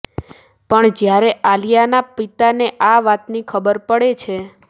પણ જ્યારે આલિયાના પિતાને આ વાતની ખબર પડે છે